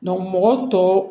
mɔgɔ tɔw